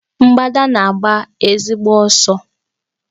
Mgbadà na-agbali ezigbo ọsọ.